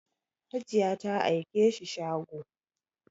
Hajiya ta aike shi shago